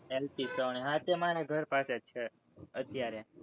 L. P. savani, હા તે એ મારા ઘર પાસે જ છે, અત્યારે